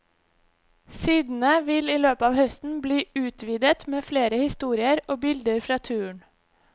Sidene vil i løpet av høsten bli utvidet med flere historier og bilder fra turen.